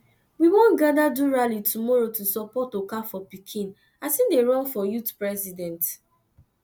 we wan gather do rally tomorrow to support okafor pikin as he dey run for youth president